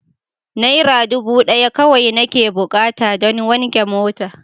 Naira dubu daya kawai nake bukata don wanke mota.